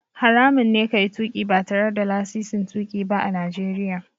Haramun ne ka yi tuƙi ba tare da lasisin tuƙi ba a Najeriya.